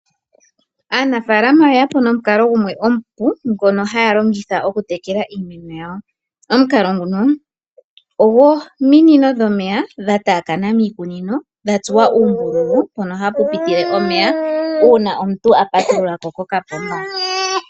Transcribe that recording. Aanafaalama oyeyapo nomukalo gumwe omupu ngono haya longitha oku tekela iimeno yawo. Omukalo nguno ogwo minino dhomeya dha taakana miikunino dhatsuwa oombululu mpono hapu pitile omeya uuna omuntu apatululako kokapomba.